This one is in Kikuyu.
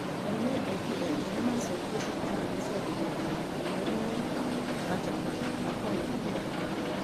Arũme aingĩ ethĩ nĩ maacokire cukuru rĩrĩa ciambĩrĩirie rĩngĩ mweri-inĩ wa Janũarĩ mwaka ũyũ gũkĩra airĩtu.